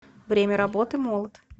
время работы молот